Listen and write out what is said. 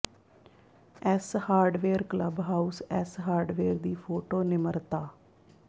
S hardware club house S hardware ਦੀ photo ਨਿਮਰਤਾ